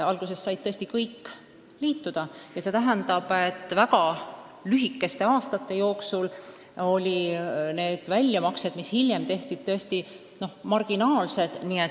Alguses said tõesti kõik liituda, aga väga lühikese kogumisaja järel olid väljamaksed, mis hiljem tehti, tõesti marginaalsed.